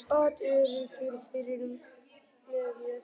sat öruggur fyrir miðju.